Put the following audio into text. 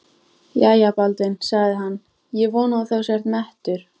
Jæja, Baldvin, sagði hann,-ég vona að þú sért mettur.